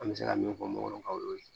An bɛ se ka min fɔ mɔgɔ kan o y'o ye